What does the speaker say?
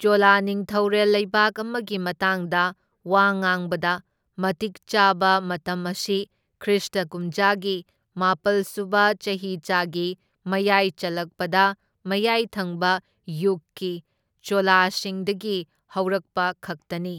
ꯆꯣꯂꯥ ꯅꯤꯡꯊꯧꯔꯦꯜ ꯂꯩꯕꯥꯛ ꯑꯃꯒꯤ ꯃꯇꯥꯡꯗ ꯋꯥ ꯉꯥꯡꯕꯗ ꯃꯇꯤꯛ ꯆꯥꯕ ꯃꯇꯝ ꯑꯁꯤ ꯈ꯭ꯔꯤꯁꯇ ꯀꯨꯝꯖꯥꯒꯤ ꯃꯥꯄꯜ ꯁꯨꯕ ꯆꯍꯤꯆꯥꯒꯤ ꯃꯌꯥꯏ ꯆꯜꯂꯛꯄꯗ ꯃꯌꯥꯏ ꯊꯪꯕ ꯌꯨꯒꯀꯤ ꯆꯣꯂꯥꯁꯤꯡꯗꯒꯤ ꯍꯧꯔꯛꯄꯈꯛꯇꯅꯤ꯫